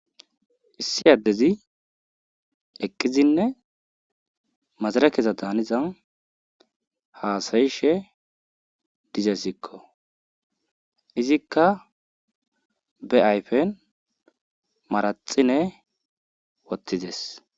Issi addezi eqqizinne mazirekeza daaniza haasayishe dizeesikko izikka be ayfen manaxire wothides.